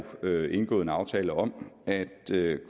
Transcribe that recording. indgået en aftale om at